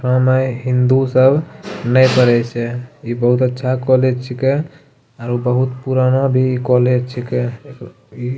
ओय में हिन्दू सब नए पढ़े छै इ बहुत अच्छा कॉलेज छिके आरो बहुत पुराना भी कॉलेज छिके इ --